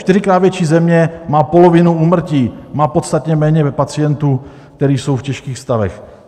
Čtyřikrát větší země má polovinu úmrtí, má podstatně méně pacientů, kteří jsou v těžkých stavech.